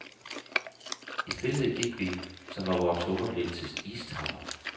I stilhed gik vi, som var vores tunger blevet til istapper.